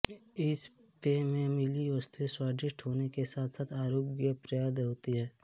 इस पेय में मिली वस्तुएं स्वादिष्ट होने के साथसाथ आरोग्यप्रद होती हैं